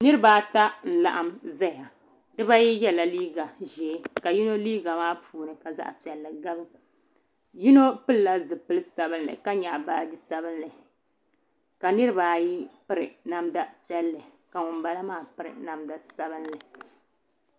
Niriba ata n laɣim zaya dibaayi yela liiga ʒee ka yino liiga maa puuni ka zaɣa piɛlli gabi yino pilila zipil sabinli ka nyaɣi baagi sabinli ka niriba ayi piri namda piɛlli ka ŋun bala maa piri namda sabinli.